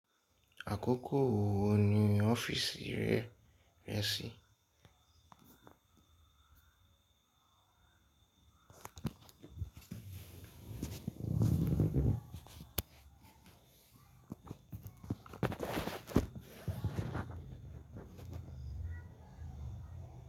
Àkókò wo ni ọ́fìsì rẹ rẹ̀ sí?